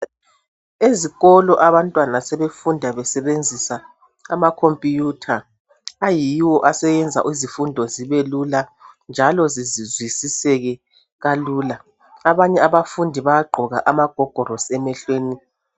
Ezikolo abantwana sebefunda besebenzisa ama computer ayiwo aseyenza izifundo zibe lula njalo zizwisiseke kalula abanye abafundi bayagqoka amagogolosi emehlweni.